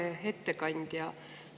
Hea ettekandja!